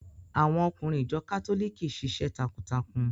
Àwọn ọkùnrin ìjọ kátólìkì ṣiṣẹ́ takuntakun.